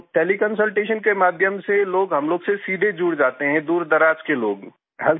तो teleconsultation के माध्यम से लोग हम लोग से सीधे जुड़ जाते हैं दूरदराज के लोग